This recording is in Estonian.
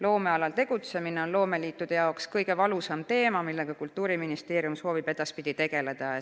Loomealal tegutsemine on loomeliitude jaoks kõige valusam teema, millega Kultuuriministeerium soovib edaspidi tegeleda.